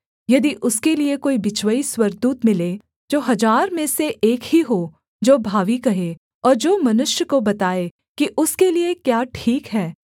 यदि उसके लिये कोई बिचवई स्वर्गदूत मिले जो हजार में से एक ही हो जो भावी कहे और जो मनुष्य को बताए कि उसके लिये क्या ठीक है